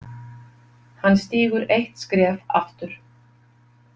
Hann stígur eitt skref aftur.